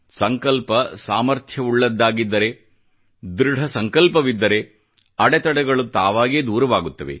ಸಂಕಲ್ಪ ದೃಢ ಸಂಕಲ್ಪವಿದ್ದರೆ ಅಡೆತಡೆಗಳು ತಾವಾಗೇ ದೂರವಾಗುತ್ತವೆ